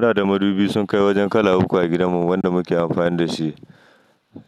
Muna da madubi sun kai wajen kala uku a gidanmu wanda muke amfani da shi.